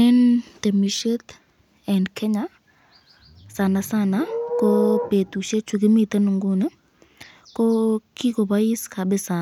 Eng temisyet eng Kenya sanasana betushek chukimiten Nguni, ko kikobois kabisa